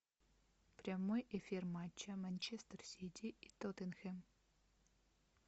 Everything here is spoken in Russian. прямой эфир матча манчестер сити и тоттенхэм